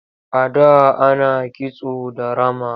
A da ana kisto da rama.